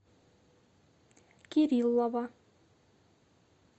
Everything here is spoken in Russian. кириллова